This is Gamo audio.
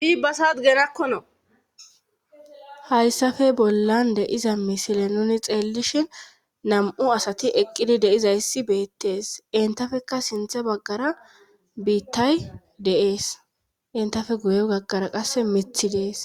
Iibasa gerakkono hayssafe bollan de'iza misile nuni xeellishin nam'u asati eqqidi deizayssi beettees entafekka sinthe baggara biittay de'ees entafe guye gaggara qasse mithi dees.